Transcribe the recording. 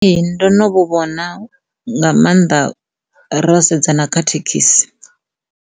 Ee, ndo no vhu vhona nga maanḓa ro sedza na kha thekhisi.